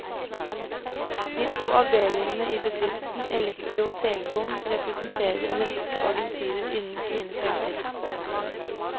De to avdelingene i bedriften, elektro og telekom, representerer en rekke agenturer innen sine felter.